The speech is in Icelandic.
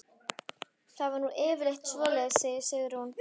Það er nú yfirleitt svoleiðis, segir Sigrún.